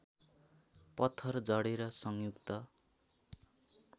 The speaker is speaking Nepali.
पत्थर जडेर संयुक्त